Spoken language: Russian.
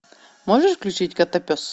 можешь включить котопес